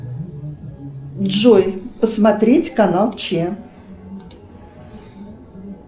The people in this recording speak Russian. джой посмотреть канал че